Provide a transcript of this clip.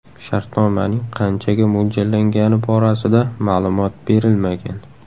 Shartnomaning qanchaga mo‘ljallangani borasida ma’lumot berilmagan.